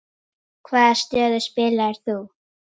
Hvaða stöðu spilaðir þú?